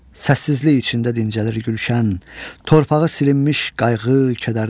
Səssizlik içində dincəlir gülşən, torpağı silinmiş qayğı, kədərdən.